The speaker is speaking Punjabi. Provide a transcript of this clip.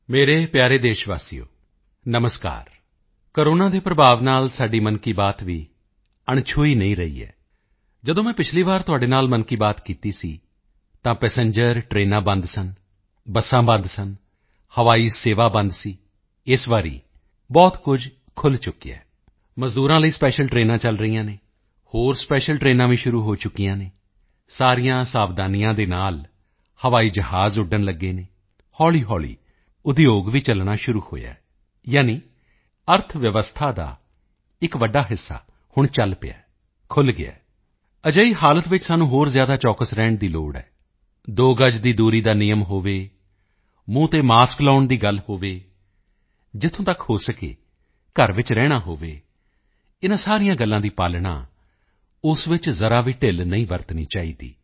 ਮੇਰੇ ਪਿਆਰੇ ਦੇਸ਼ਵਾਸੀਓ ਨਮਸਕਾਰ ਕੋਰੋਨਾ ਦੇ ਪ੍ਰਭਾਵ ਨਾਲ ਸਾਡੀ ਮਨ ਕੀ ਬਾਤ ਵੀ ਅਣਛੂਹੀ ਨਹੀਂ ਰਹੀ ਹੈ ਜਦੋਂ ਮੈਂ ਪਿਛਲੀ ਵਾਰੀ ਤੁਹਾਡੇ ਨਾਲ ਮਨ ਕੀ ਬਾਤ ਕੀਤੀ ਸੀ ਤਾਂ ਪੈਸੇਂਜਰ ਟ੍ਰੇਨਾਂ ਬੰਦ ਸਨ ਬੱਸਾਂ ਬੰਦ ਸਨ ਹਵਾਈ ਸੇਵਾ ਬੰਦ ਸੀ ਇਸ ਵਾਰੀ ਬਹੁਤ ਕੁਝ ਖੁੱਲ੍ਹ ਚੁੱਕਿਆ ਹੈ ਮਜ਼ਦੂਰਾਂ ਲਈ ਸਪੈਸ਼ੀਅਲ ਟ੍ਰੇਨਾਂ ਚਲ ਰਹੀਆਂ ਹਨ ਹੋਰ ਸਪੈਸ਼ੀਅਲ ਟ੍ਰੇਨਾਂ ਵੀ ਸ਼ੁਰੂ ਹੋ ਗਈਆਂ ਹਨ ਸਾਰੀਆਂ ਸਾਵਧਾਨੀਆਂ ਦੇ ਨਾਲ ਹਵਾਈ ਜਹਾਜ਼ ਉੱਡਣ ਲੱਗੇ ਹਨ ਹੌਲੀਹੌਲੀ ਉਦਯੋਗ ਵੀ ਚਲਣਾ ਸ਼ੁਰੂ ਹੋਇਆ ਹੈ ਯਾਨੀ ਅਰਥਵਿਵਸਥਾ ਦਾ ਇੱਕ ਵੱਡਾ ਹਿੱਸਾ ਹੁਣ ਚਲ ਪਿਆ ਹੈ ਖੁੱਲ੍ਹ ਗਿਆ ਹੈ ਅਜਿਹੇ ਵਿੱਚ ਸਾਨੂੰ ਹੋਰ ਜ਼ਿਆਦਾ ਚੌਕਸ ਰਹਿਣ ਦੀ ਲੋੜ ਹੈ ਦੋ ਗਜ ਦੀ ਦੂਰੀ ਦਾ ਨਿਯਮ ਹੋਵੇ ਮੂੰਹ ਤੇ ਮਾਸਕ ਲਗਾਉਣ ਦੀ ਗੱਲ ਹੋਵੇ ਜਿੱਥੋਂ ਤੱਕ ਹੋ ਸਕੇ ਘਰ ਵਿੱਚ ਰਹਿਣਾ ਹੋਵੇ ਇਨ੍ਹਾਂ ਸਾਰੀਆਂ ਗੱਲਾਂ ਦੀ ਪਾਲਣਾ ਉਸ ਵਿੱਚ ਜ਼ਰਾ ਵੀ ਢਿੱਲ ਨਹੀਂ ਵਰਤਣੀ ਚਾਹੀਦੀ